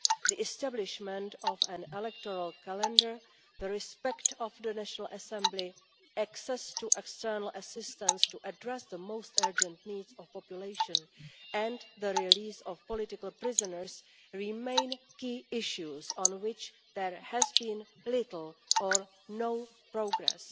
The establishment of an electoral calendar, respect for the National Assembly's access to external assistance to address the most urgent needs of the population, and the release of political prisoners, remain key issues on which there has been little or no progress.